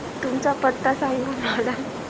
तुमचा पत्ता सांगा madam